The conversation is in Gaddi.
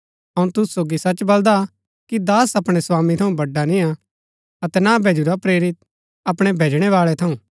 अऊँ तूसु सोगी सच बलदा कि दास अपणै स्वामी थऊँ बडा निय्आ अतै ना भैजुरा प्रेरित अपणै भैजणैवाळै थऊँ